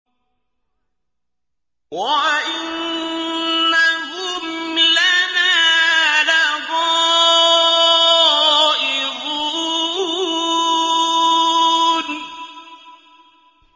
وَإِنَّهُمْ لَنَا لَغَائِظُونَ